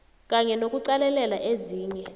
kanye nokuqalelela ezinye